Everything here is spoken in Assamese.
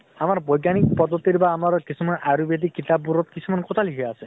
আমাৰ বৈহজ্ঞানিক পদ্ধতি বা আমাৰ কিছুমান আয়োৰ্বেদিক কিতাপ বোৰত কিছুমান কথা লিখা আছে